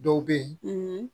Dɔw bɛ ye